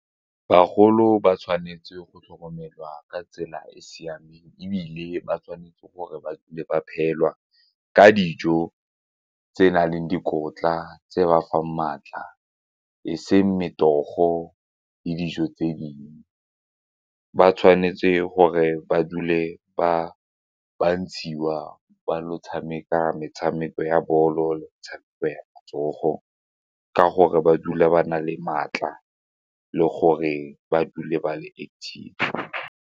Bagolo ba tshwanetse go tlhokomelwa ka tsela e e siameng ebile ba tshwanetse gore ba le ba phela ka dijo tse nang le dikotla tse ba fa maatla e seng metogo le dijo tse dingwe ba tshwanetse gore ba dule ba ba ntshiwa ba lo tshameka metshameko ya bolo le metshameko ya matsogo ka gore ba dula ba na le maatla le gore ba dule ba le active.